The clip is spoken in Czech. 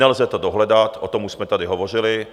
Nelze to dohledat, o tom už jsme tady hovořili.